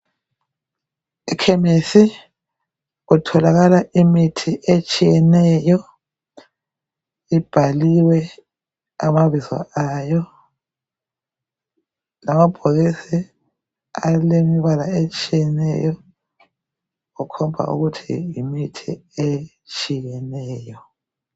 Ekhemisi kutholakala imithi etshiyeneyo, ibhaliwe amabizo ayo lamabhokisi alemibalala etshiyeneyo kukhomba ukuthi yimithi etshiyeneyo